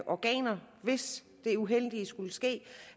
organer hvis det uheldige skulle ske